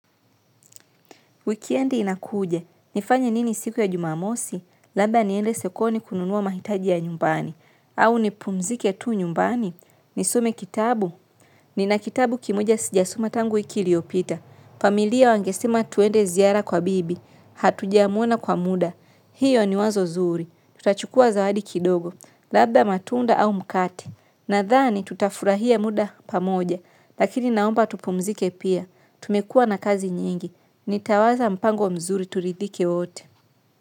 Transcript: Weekendi inakuja nifanye nini siku ya jumamosi labda niende sokoni kununua mahitaji ya nyumbani au nipumzike tu nyumbani nisome kitabu nina kitabu kimoja sijasoma tangu wiki iliopita, familia wangesima tuende ziara kwa bibi, hatuja mwona kwa muda, hiyo ni wazo zuri, tutachukua zawadi kidogo, labda matunda au mkate, nathani tutafurahia muda pamoja, lakini naomba tupumzike pia, tumekua na kazi nyingi, nitawaza mpango wa mzuri turidhike wote.